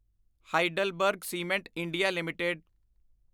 HeidelbergCement India LTD